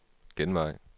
genvej